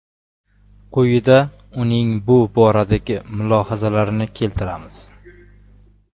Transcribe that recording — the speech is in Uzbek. Quyida uning bu boradagi mulohazalarini keltiramiz.